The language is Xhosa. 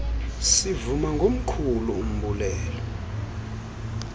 sivuma ngomkhulu umbulelo